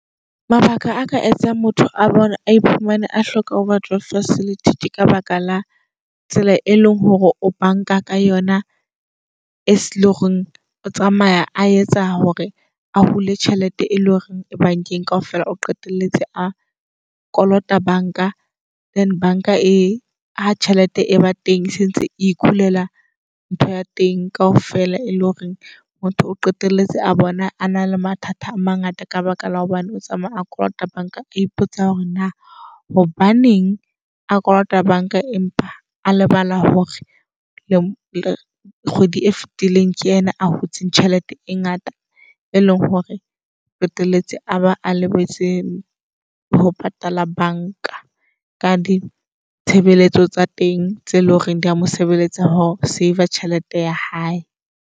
Mabaka aka etsang motho a bone a iphumane a hloka overdraft facility tse ka baka la tsela e leng hore o bank-a ka yona. As ele oreng o tsamaya a etsa hore a hule tjhelete e leng hore e bank-eng kaofela. O qetelletse a kolota bank-a, then bank-a e ha tjhelete e ba teng e sentse e khulela ntho ya teng kaofela. E leng hore motho o qetelletse a bona a na le mathata a mangata. Ka baka la hobane o tsamaya a kolota bank-a. A ipotsa hore na hobaneng a kolota bank-a, empa a lebala hore le kgwedi e fetileng ke yena a hotsing tjhelete e ngata. E leng hore o qeteletse a ba a lebetse ho patala bank-a. Ka ditshebeletso tsa teng, tse eloreng di a mosebeletsaho save-r tjhelete ya hae.